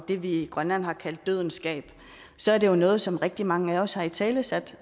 det vi i grønland har kaldt dødens gab så er det jo noget som rigtig mange af os har italesat